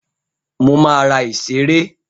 Mo máa ra ìṣeré.